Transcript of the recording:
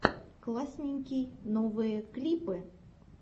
классненький новые клипы